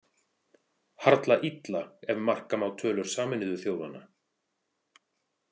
Harla illa ef marka má tölur Sameinuðu þjóðanna.